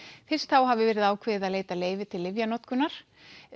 fyrst þá hafi verið ákveðið að veita leyfi til lyfjanotkunar